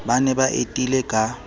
ba ne ba etile ka